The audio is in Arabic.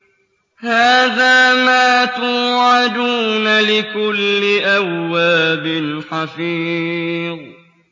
هَٰذَا مَا تُوعَدُونَ لِكُلِّ أَوَّابٍ حَفِيظٍ